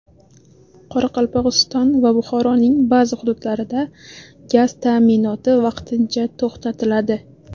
Qoraqalpog‘iston va Buxoroning ba’zi hududlarida gaz ta’minoti vaqtincha to‘xtatiladi.